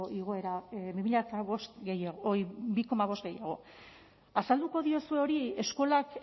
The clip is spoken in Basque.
igoera bi koma bosteko gehiago azalduko diozu hori eskolak